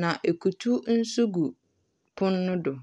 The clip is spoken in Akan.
na ekutuw mso gu pon no do.